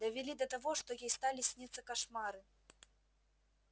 довели до того что ей стали сниться кошмары